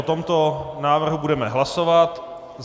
O tomto návrhu budeme hlasovat.